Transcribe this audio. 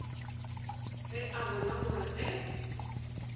ke a bona gore ge